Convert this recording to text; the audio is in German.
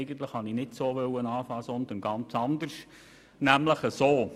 Eigentlich wollte ich nicht so anfangen, sondern ganz anders, nämlich so: